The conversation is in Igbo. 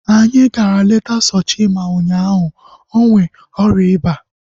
Anyị gara leta Sochima ụnyaahụ. Ọ na-enwe ọrịa iba